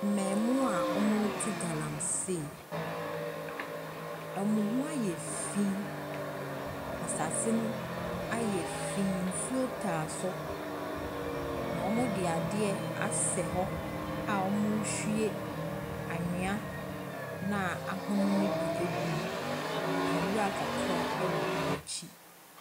Mmaamua a wɔretu galamsey. Wɔn ho ayɛ fi. Asase no ayɛ fi, nsuo tae so, na wɔde adeɛ asɛ hɔ a wɔrehwie anwea no a ahono no bi agum. Nwura kakra wɔ wɔn akyi.